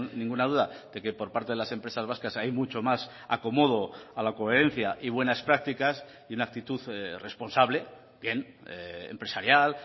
ninguna duda de que por parte de las empresas vascas hay mucho más acomodo a la coherencia y buenas prácticas y una actitud responsable bien empresarial